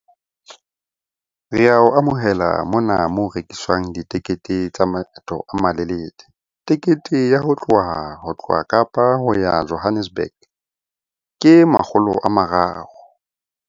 Re ao amohela mona moo rekiswang ditekete tsa maeto a malelele. Tekete ya ho tloha Kapa ho ya Johannesburg ke makgolo a mararo.